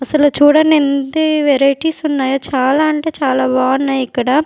అసలు చూడండి ఎన్ని వెరైటీస్ ఉన్నాయో చాలా అంటే చాలా బాగున్నాయి ఇక్కడ.